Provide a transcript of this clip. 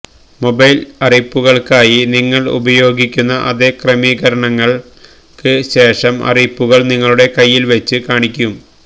mobile അറിയിപ്പുകൾക്കായി നിങ്ങൾ ഉപയോഗിക്കുന്ന അതേ ക്രമീകരണങ്ങൾക്ക് ശേഷം അറിയിപ്പുകൾ നിങ്ങളുടെ കൈയിൽ വച്ച് കാണിക്കും